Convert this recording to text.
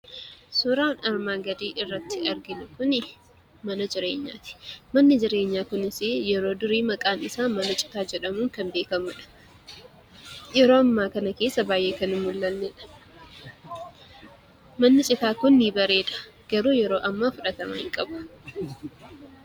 Suuraan armaan gadii irratti arginu kunii, mana jireenyaati. Manni jireenyaa kunis yeroo durii mana citaa jedhamuun kan beekkamudha. Yeroo ammaa kana keessa baayyee kan hin mul'annedha. Manni citaa kun ni bareeda. Garuu yeroo ammaa fudhatama hin qabu.